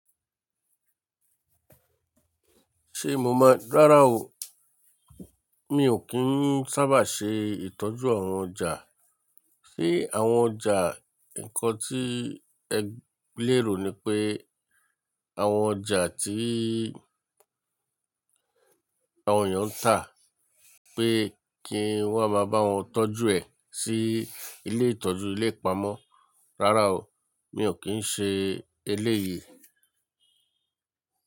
Ṣé mo mọ̀? Rárá o. Mi ò kí ń sábà ṣe ìtọ́jú àwọn ọjà. Sé àwọn ọjà, nǹkan tí ẹ lérò ni pé àwọn ọjà tí àwọn èèyàn ń tà pé kí wọ́n máa bá wọn tọ́jú ẹ̀ sí ilé ìtọ́jú ilé ipamọ́. Rárá o, mi ò kí ń ṣe eléyìí.